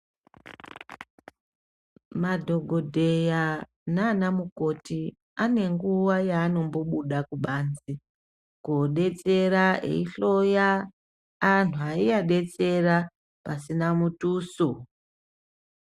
Madhokodheya nanamukoti ane nguwa yaanombobuda kubanze kodetsera eyihloya antu ayiadetsera pasina mutuso.